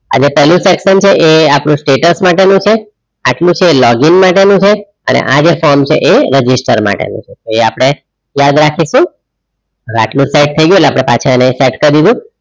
આ જે પહેલું section છે એ આપણું status માટે નું છે આટલું છે login માટે નું છે અને આ જે form છે એ register માટે નું છે એ આપણે યાદ રાખીશુ એટલે આટલું સેટ થયી ગયું એટલે પાછા એને સેટ કરી દીધું